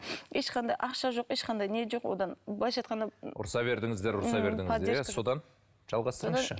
ешқандай ақша жоқ ешқандай не жоқ одан былайша айтқанда ұрсыса бердіңіздер ұрсыса бердіңіздер иә содан жалғастырыңызшы